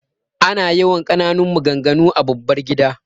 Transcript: Ana yawan ƙananan maganganu a babbar gida.